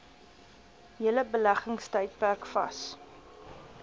hele beleggingstydperk vas